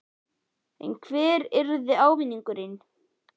En hver yrði ávinningurinn?